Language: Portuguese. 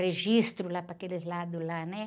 Registro lá, para aqueles lados lá, né?